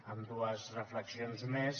amb dues reflexions més